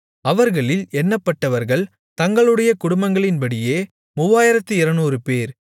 அவர்களில் எண்ணப்பட்டவர்கள் தங்களுடைய குடும்பங்களின்படியே 3200 பேர்